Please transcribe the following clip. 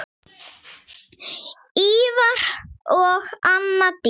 Ívar og Anna Dís.